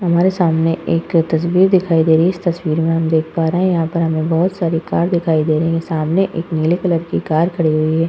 हमारे सामने एक तस्वीर दिखाई दे रही है। इस तस्वीर में हम देख पा रहे हैं। यहाँ पर हमें बहोत सारी कार दिखाई दे रही हैं। सामने एक नीले कलर की कार खड़ी हुई है।